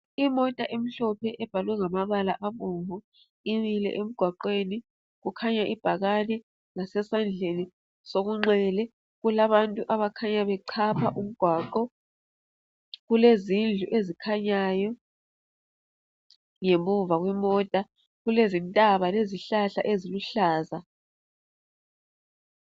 lmota emlophe ebhalwe ngamabala abomnvu imile emgwaqweni, kukhanya ibhakane ngasesandleni sokunxele kulabantu abakhanya bechapha umgwaqo kulezindlu ezikhanyayo ngemuva kwemota kulezintaba lezihlahla eziluhlaza.